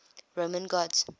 roman gods